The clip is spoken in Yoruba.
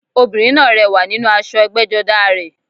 Obìnrin náà rẹwà nínú aṣọ ẹgbẹ́jọdá a rẹ̀